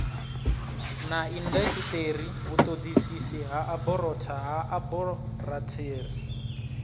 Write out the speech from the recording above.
na indasiteri vhutodisisi ha aborathari